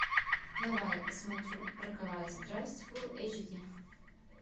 давай я посмотрю роковая страсть фул эйч ди